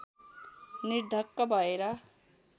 निर्धक्क भएर